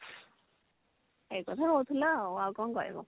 ଏ କଥା କହୁଥିଲା ଆଉ କଣ କହିବ